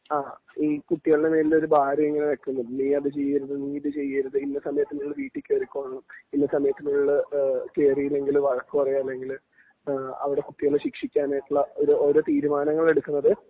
ആ ഈ കുട്ടികളുടെ മേലില് ഒരു ഭാരം ഇങ്ങനെ വെക്കും നീ അത് ചെയ്യരുത് നീ ഇത് ചെയ്യരുത് ഇന്ന സമയത്തിന്റെ ഉള്ളിൽ വീട്ടിൽ കേറിക്കൊള്ളണം . ഇന്ന സമയത്തിന്റെ ഉള്ളിൽ കേറിയില്ലെങ്കില് വഴക്ക് പറയും അല്ലെങ്കില് അവിടെ കുട്ടികളെ ശിക്ഷിക്കാനായിട്ടുള്ള ഓരോ തീരുമാനങ്ങൾ എടുക്കുന്നത്